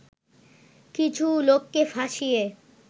কিছু লোককে ফাঁসিয়ে